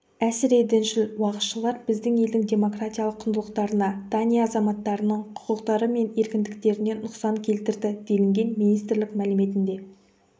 әсіредіншіл уағызшылар біздің елдің демократиялық құндылықтарына дания азаматтарының құқықтары мен еркіндіктеріне нұқсан келтірді делінген министрлік мәліметінде